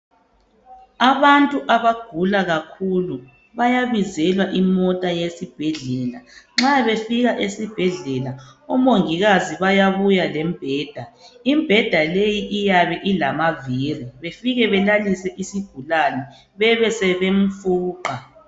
Abantu abagula kakhulu bayabizelwqa imota yesibhedlela nxa befika esibhedlela omongikazi bayabuya lembheda imbheda leyi iyabe ilamaviri befike belalise isigulani bebesebemfuqa.